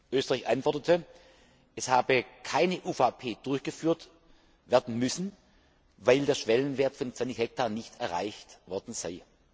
Österreich antwortete, es habe keine UVP durchgeführt werden müssen, weil der Schwellenwert von 20 Hektar nicht erreicht worden sei.